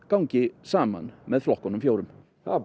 gangi saman með flokkunum fjórum það